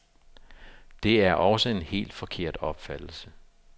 Det er også en helt forkert opfattelse.